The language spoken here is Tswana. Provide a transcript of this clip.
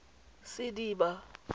sediba